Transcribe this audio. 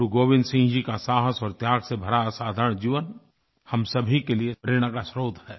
गुरुगोविन्द सिंह जी का साहस और त्याग से भरा असाधारण जीवन हम सभी के लिए प्रेरणा का स्रोत है